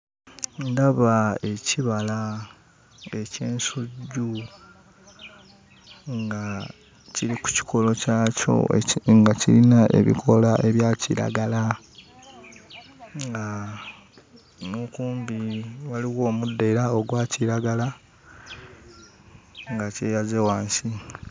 Ndaba ekibala eky'ensujju nga kiri ku kikolo kyakyo eki nga kiyina ebikoola ebya kiragala nga n'okumbi waliwo omuddo era ogwa kiragala nga kyeyaze wansi.